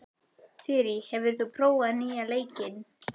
Þyrí, hefur þú prófað nýja leikinn?